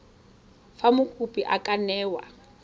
fa mokopi a ka newa